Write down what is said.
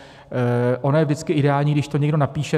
Ono je vždycky ideální, když to někdo napíše.